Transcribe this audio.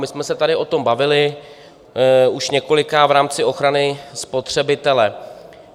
My jsme se tady o tom bavili už několikrát v rámci ochrany spotřebitele.